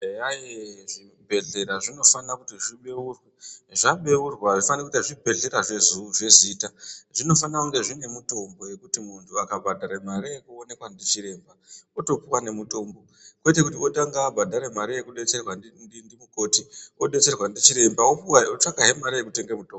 Eya zvibhehlera zvinofane kuti zvibeurwe ,zvabeurwa azvifaniri kuite zvibhehlera zvezita zvinofanira kunge zvinemutombo yekuti munhu akabhadhare mare yekuonekwa ndicheremba otopuwa nemutombo kwete kuti otanga adetserwa ndimukoti odetserwa ndichiremba otsvakahe mare yekutenge mutombo.